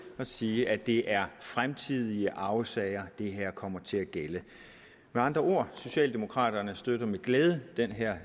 og sige at det er fremtidige arvesager det her kommer til at gælde med andre ord socialdemokraterne støtter med glæde den her